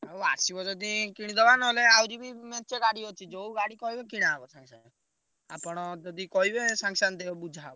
ହଉ ଆସିବ ଯଦି କିଣିଦବା ନହେଲେ ଆହୁରି ବି ମେଞ୍ଚେ ଗାଡି ଅଛି ଯୋଉ ଗାଡି କହିବେ କିଣାହବ ସାଙ୍ଗେସାଙ୍ଗେ ଆପଣ ଯଦି କହିବେ ସାଙ୍ଗେସାଙ୍ଗେ ଦେ ବୁଝାହବ।